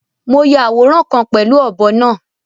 Mo yà awóran kan pẹ̀lú ọbọ̀ náà